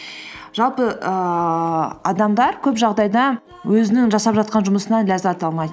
жалпы ііі адамдар көп жағдайда өзінің жасап жатқан жұмысынан ләззат алмайды